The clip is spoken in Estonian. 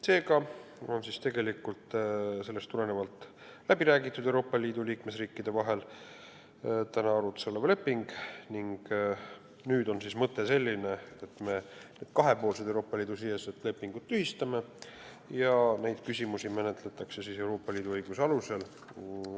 Sellest tulenevalt on täna arutuse all olev leping Euroopa Liidu riikide vahel läbi räägitud ning nüüd on mõte selline, et me kahepoolsed Euroopa Liidu sisesed lepingud tühistame ja tulevikus menetletakse vastavaid asju Euroopa Liidu õiguse alusel.